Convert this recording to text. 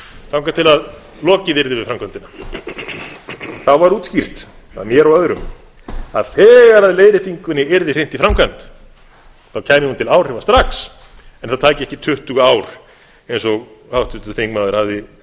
þangað til að lokið yrði við framkvæmdina það var útskýrt af mér og öðrum að þegar leiðréttingunni yrði hrint í framkvæmd þá kæmi hún til áhrifa strax en það tæki ekki tuttugu ár eins og háttvirtur þingmaður hafði